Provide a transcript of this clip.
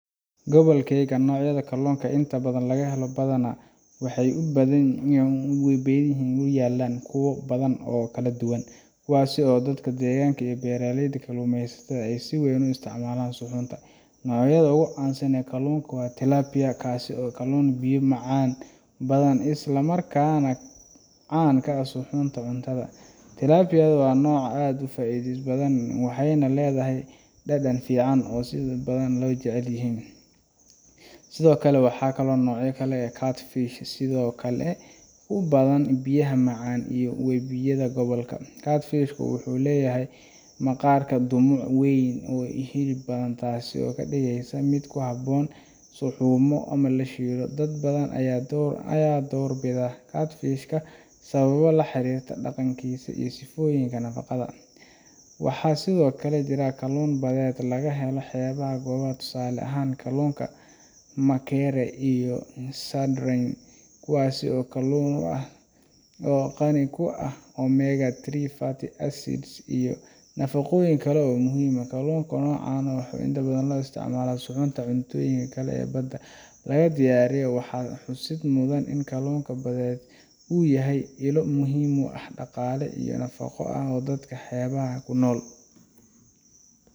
Gobolkayga, noocyada kalluunka ee inta badan laga helo badaha iyo webiyada ku yaalla waa kuwo badan oo kala duwan, kuwaasoo dadka deegaanka iyo beeraleyda kalluumaysatada ay si weyn u isticmaalaan suxunta. Noocyada ugu caansan waxaa ka mid ah kalluunka tilapia, kaas oo ah kalluun biyo macaan ku badan isla markaana caan ka ah suxunta iyo cunnada. Tilapia waa nooc aad u faa’iido badan, waxayna leedahay dhadhan fiican oo dadka badan jecel yihiin. Sidoo kale, waxaa laga helaa noocyo kaladuwan sida catfish oo sidoo kale ku badan biyaha macaan iyo webiyada gobolka. Catfish-ka wuxuu leeyahay maqaarka dhumuc weyn iyo hilib badan, taasoo ka dhigaysa mid ku habboon in la suxumo ama la shiilo. Dad badan ayaa door bida catfish-ka sababo la xiriira dhadhankiisa iyo sifooyinkiisa nafaqada. Waxaa sidoo kale jira kalluun badeed oo laga helo xeebaha gobolka, tusaale ahaan kalluunka mackerel iyo sardines kuwaas oo ah kalluun badan oo qani ku ah omega-3 fatty acids iyo nafaqooyin kale oo muhiim ah. Kalluunka noocan ah ayaa inta badan loo isticmaalaa suxunta iyo cuntooyinka kale ee badda laga diyaariyo. Waxaa xusid mudan in kalluunka badeed uu yahay ilo muhiim ah oo dhaqaale iyo nafaqo u ah dadka xeebaha ku nool.